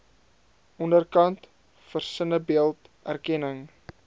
onderkant versinnebeeld erkenning